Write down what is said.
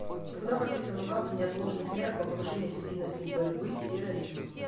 когда подписан указ о неотложных мерах по повышению эффективности борьбы с терроризмом